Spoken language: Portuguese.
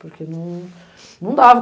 Porque não, não dava.